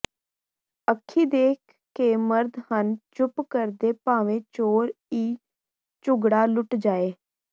ਅੱਖੀਂ ਦੇਖ ਕੇ ਮਰਦ ਹਨ ਚੁਪ ਕਰਦੇ ਭਾਂਵੇਂ ਚੋਰ ਈ ਝੁਗੜਾ ਲੁਟ ਜਾਏ